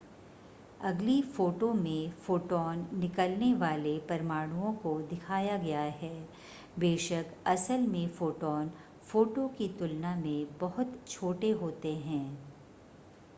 अगली फ़ोटो में फोटॉन निकलने वाले परमाणुओं को दिखाया गया है बेशक असल में फोटॉन फ़ोटो की तुलना में बहुत छोटे होते हैं